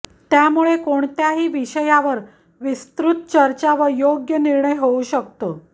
त्यामुळे कोणत्याही विषयावर विस्तृत चर्चा व योग्य निर्णय होऊ शकतो